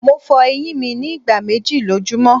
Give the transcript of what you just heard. Mo fo eyin mi ni igba meji lojumọ